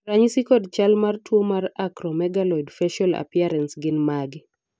ranyisi kod chal mar tuo mar Acromegaloid facial appearance gin mage?